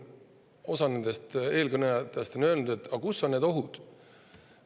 Osa eelkõnelejatest on öelnud, et aga kus need ohud on.